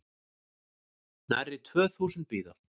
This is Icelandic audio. Nærri tvö þúsund bíða